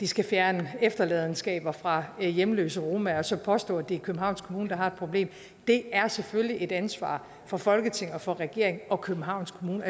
skal fjerne efterladenskaber fra hjemløse romaer og så påstår man at det er københavns kommune der har et problem det er selvfølgelig et ansvar for folketing og for regering og københavns kommune